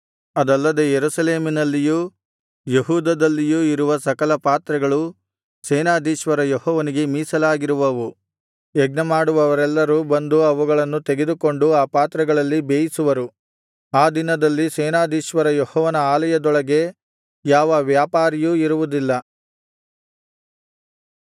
ಅಲ್ಲದೆ ಯೆರೂಸಲೇಮಿನಲ್ಲಿಯೂ ಯೆಹೂದದಲ್ಲಿಯೂ ಇರುವ ಸಕಲ ಪಾತ್ರೆಗಳು ಸೇನಾಧೀಶ್ವರ ಯೆಹೋವನಿಗೆ ಮೀಸಲಾಗಿರುವವು ಯಜ್ಞಮಾಡುವವರೆಲ್ಲರು ಬಂದು ಅವುಗಳನ್ನು ತೆಗೆದುಕೊಂಡು ಆ ಪಾತ್ರೆಗಳಲ್ಲಿ ಬೇಯಿಸುವರು ಆ ದಿನದಲ್ಲಿ ಸೇನಾಧೀಶ್ವರ ಯೆಹೋವನ ಆಲಯದೊಳಗೆ ಯಾವ ವ್ಯಾಪಾರಿಯೂ ಇರುವುದಿಲ್ಲ